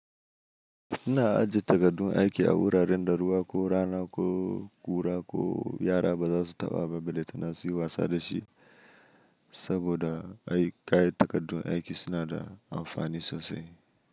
Ina ajiye takardun aiki a wuraren ruwa ko rana ko ƙura ko yara ba za su taɓa ballanta na suyi wasa da shi. Saboda ai ƙayatar da takardun aiki suna da amfani sosai.